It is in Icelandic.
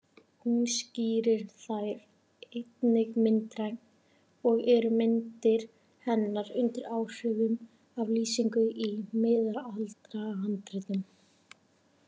Hún skýrir þær einnig myndrænt og eru myndir hennar undir áhrifum af lýsingum í miðaldahandritum.